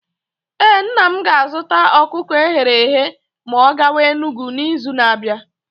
Ee, nna m ga-azụta ọkụkọ eghere eghe ma ọ gawa Enugwu n’izu na-abịa.